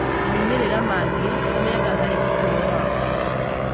Moimĩrĩra mangĩ ti mega harĩ ũtũũro waku.